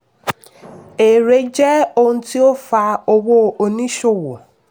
èrè jẹ́ ohun tí ó fa owó oníṣòwò.